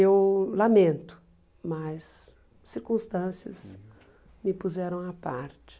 Eu lamento, mas circunstâncias me puseram à parte.